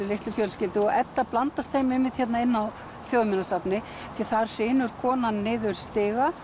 litlu fjölskyldu og Edda blandast þeim einmitt hérna inni á Þjóðminjasafni því þar hrynur konan niður stiga